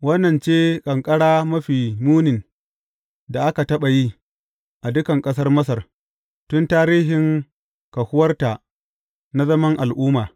Wannan ce ƙanƙara mafi munin da aka taɓa yi, a dukan ƙasar Masar, tun tarihin kahuwarta na zaman al’umma.